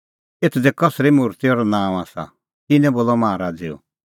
एथ दी कसरी मुर्ति और नांअ आसा तिन्नैं बोलअ माहा राज़ैओ